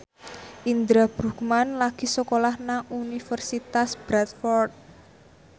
Indra Bruggman lagi sekolah nang Universitas Bradford